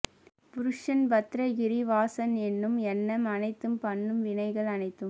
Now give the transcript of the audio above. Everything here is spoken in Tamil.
புருஷன் பத்ரகிரி வாசன் எண்ணும் எண்ணம் அனைத்தும் பண்ணும் வினைகள் அனைத்தும்